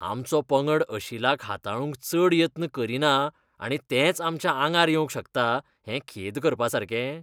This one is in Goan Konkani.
आमचो पंगड अशिलाक हाताळूंक चड यत्न करिना आनी तेंच आमच्या आंगार येवंक शकता, हें खेद करपासारकें?